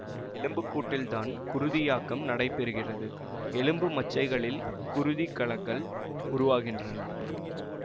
எலும்புக்கூட்டில்தான் குருதியாக்கம் நடைபெறுகிறது எலும்பு மச்சைகளில் குருதிக் கலங்கள் உருவாகின்றன